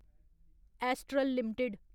astral limited